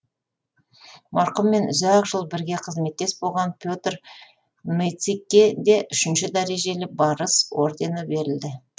марқұммен ұзақ жыл бірге қызметтес болған петр ницыкке де үшінші дәрежелі барыс ордені берілді